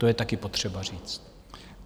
To je taky potřeba říct.